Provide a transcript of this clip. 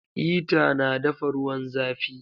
Hita na dafa ruwan zafi